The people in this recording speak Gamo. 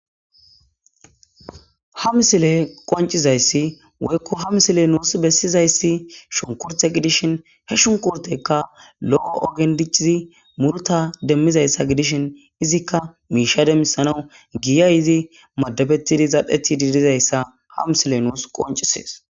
Ha msile qoncizayssi woykko ham sile nuus bessizayssi shunkurte gidishin he shunkurtekka lo'o ogendicizi murta demmizayssa gidishin izikka miisha demmisanawu giya izi madabettidi zadheti diidizayssa hamsile nuus qoncisees